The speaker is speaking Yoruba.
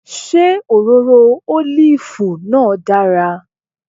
Ṣé òróró ólìfù náà dára